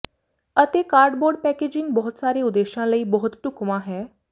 ਅਤੇ cardboard packaging ਬਹੁਤ ਸਾਰੇ ਉਦੇਸ਼ਾਂ ਲਈ ਬਹੁਤ ਢੁਕਵਾਂ ਹੈ